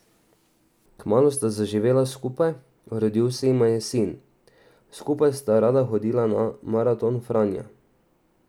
Kmalu sta zaživela skupaj, rodil se jima je sin, skupaj sta rada hodila na maraton Franja.